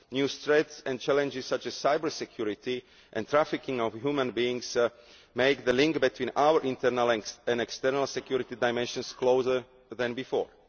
New threats and challenges, such as cyber security and trafficking of human beings, make the link between our internal and external security dimensions closer than before.